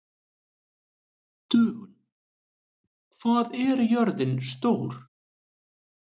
Dögun, hvað er jörðin stór?